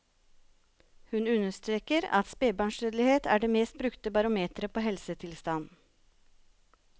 Hun understreker at spebarnsdødelighet er det mest brukte barometeret på helsetilstand.